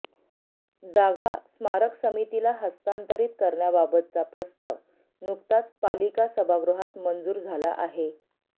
जागा स्मारक समितीला हस्तांतरित करण्याबाबतचा प्रस्ताव नुकताच पालिका सभागृहात मंजूर झाला आहे